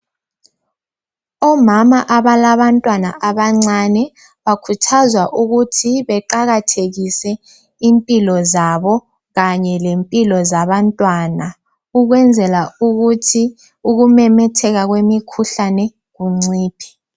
Omama abalabantwana abancane bakhuthazwa ukuthi beqakathekise impilo zabo kanyelempilo zabantwana ukwenzela ukuthi ukumemetheka kwemikhuhlane kunciphe